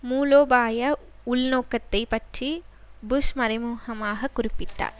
மூலோபாய உள்நோக்கத்தை பற்றி புஷ் மறைமுகமாக குறிப்பிட்டார்